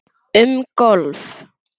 Um golf